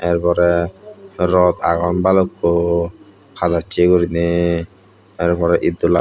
tar pore rod agon balukko halocche gurine tar pore iddola.